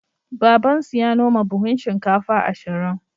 Babansu ya noma buhun shinkafa ashirin.